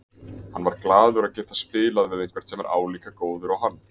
Hann var glaður að geta spilað við einhvern sem er álíka góður og hann.